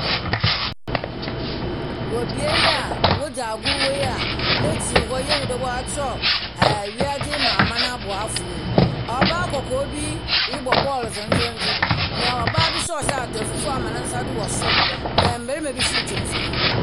Wɔ beae yi a wodzi agoru hɔ yi a ne’kyir hɔ yɛhu dɛ wɔatworɔw ɛɛ wiadze mu aman aboafoɔ yi. Ↄbaa kɔkɔɔ bi rebɔ ball dzendzendzen. Na ɔbaa bi nso a ɔhyɛ ataar fufu ama ne nsa do wɔ sor. Mmarima bi nso retwa mfonin.